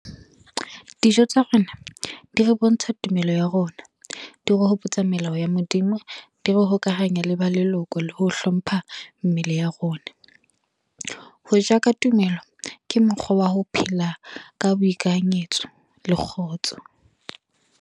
Dijo tsa rona, di re bontsha tumelo ya rona. Di re hopotsa melao ya Modimo. Di re hokahanya le ba leloko le ho hlompha mmele ya rona. Hoja ka tumelo, ke mokgwa wa ho phela ka boikanyetso le kgotso.